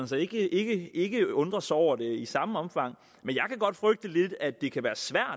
så ikke ikke undrer sig over det i samme omfang at det kan være svært